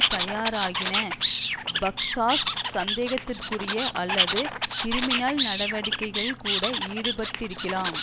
தயாராகின பக்ஸாஸ் சந்தேகத்திற்குரிய அல்லது கிரிமினல் நடவடிக்கைகளில் கூட ஈடுபட்டிருக்கலாம்